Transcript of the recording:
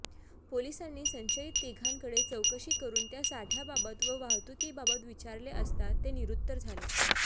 पोलिसांनी संशयित तिघांकडे चौकशी करुन त्या साठय़ाबाबत व वाहतुकीबाबत विचारले असता ते निरुत्तर झाले